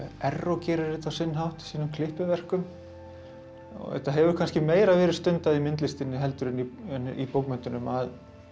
Erró gerir þetta á sinn hátt í sínum klippiverkum þetta hefur kannski meira verið stundað í myndlistinni heldur en í bókmenntunum að